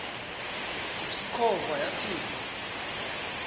usikhova yathinjw a